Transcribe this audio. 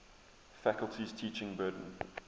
faculty's teaching burden